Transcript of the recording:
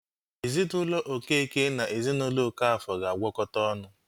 Ezinaụlọ Okeke na ezinaụlọ Okafor ga-agwọkota ọnụ